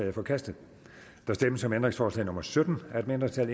er forkastet der stemmes om ændringsforslag nummer sytten af et mindretal